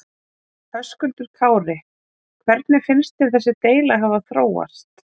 Höskuldur Kári: Hvernig finnst þér þessi deila hafa þróast?